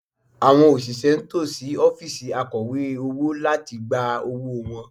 Àwọn òṣìṣẹ́ ń tò sí ọ́fíìsì Akọ̀wé owó láti gba owó wọn